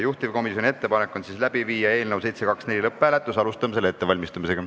Juhtivkomisjoni ettepanek on läbi viia eelnõu 724 lõpphääletus, alustame selle ettevalmistamist.